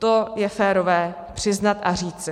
To je férové přiznat a říci.